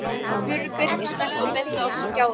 spurði Birkir snöggt og benti á skjáinn.